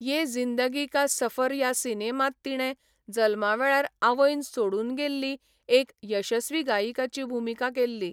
ये जिंदगी का सफर ह्या सिनेमांत तिणें जल्मा वेळार आवयन सोडून गेल्ली एक यशस्वी गायिकाची भुमिका केल्ली.